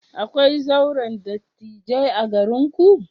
Akwai zauren dattijai a garinku?